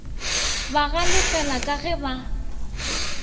ba galefela ka ge ba